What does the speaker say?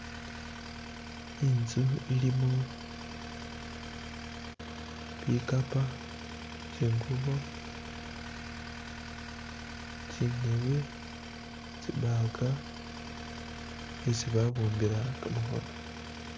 Inzu ilimo bikapa, tsingubo, tsindebe, tsi bag, esi babumbila kamakhono.